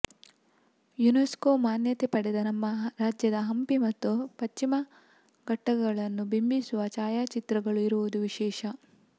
UNESCO ಮಾನ್ಯತೆ ಪಡೆದ ನಮ್ಮ ರಾಜ್ಯದ ಹಂಪಿ ಮತ್ತು ಪಶ್ಚಿಮಘಟ್ಟಗಳನ್ನು ಬಿಂಬಿಸುವ ಛಾಯಾಚಿತ್ರಗಳೂ ಇರುವುದು ವಿಶೇಷ